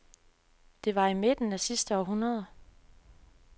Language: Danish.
Det var i midten af det sidste århundrede.